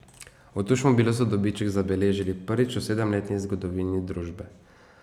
V Tušmobilu so dobiček zabeležili prvič v sedemletni zgodovini družbe.